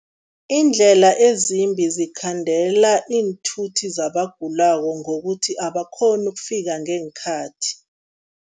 Iindlela ezimbi zikhandela iinthuthi zabagulako ngokuthi abakghoni ukufika ngeenkhathi.